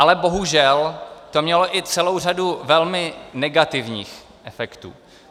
Ale bohužel to mělo i celou řadu velmi negativních efektů.